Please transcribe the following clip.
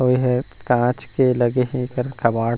और यह कांच के लगे है कबाड़ --